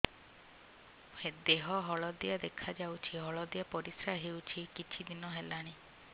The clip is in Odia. ଦେହ ହଳଦିଆ ଦେଖାଯାଉଛି ହଳଦିଆ ପରିଶ୍ରା ହେଉଛି କିଛିଦିନ ହେଲାଣି